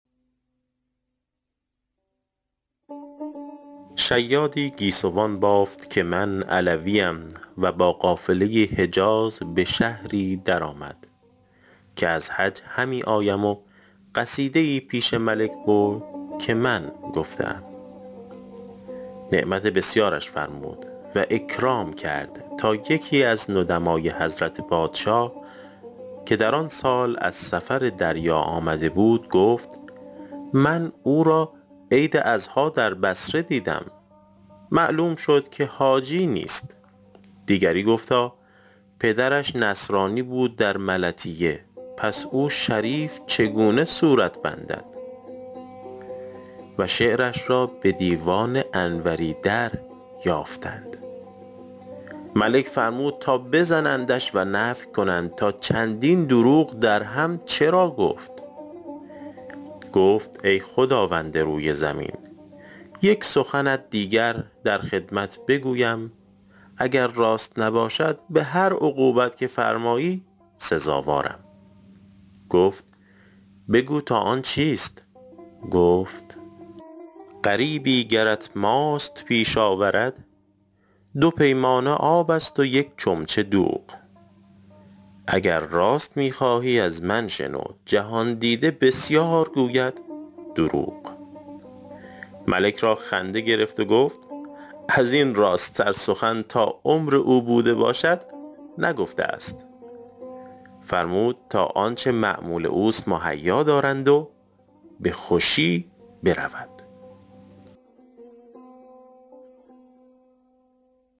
شیادی گیسوان بافت که من علویم و با قافله حجاز به شهری در آمد که از حج همی آیم و قصیده ای پیش ملک برد که من گفته ام نعمت بسیارش فرمود و اکرام کرد تا یکی از ندمای حضرت پادشاه که در آن سال از سفر دریا آمده بود گفت من او را عید اضحیٰ در بصره دیدم معلوم شد که حاجی نیست دیگری گفتا پدرش نصرانی بود در ملطیه پس او شریف چگونه صورت بندد و شعرش را به دیوان انوری دریافتند ملک فرمود تا بزنندش و نفی کنند تا چندین دروغ درهم چرا گفت گفت ای خداوند روی زمین یک سخنت دیگر در خدمت بگویم اگر راست نباشد به هر عقوبت که فرمایی سزاوارم گفت بگو تا آن چیست گفت غریبی گرت ماست پیش آورد دو پیمانه آب است و یک چمچه دوغ اگر راست می خواهی از من شنو جهان دیده بسیار گوید دروغ ملک را خنده گرفت و گفت از این راست تر سخن تا عمر او بوده باشد نگفته است فرمود تا آنچه مأمول اوست مهیا دارند و به خوشی برود